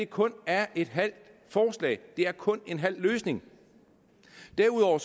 kun er et halvt forslag kun er en halv løsning derudover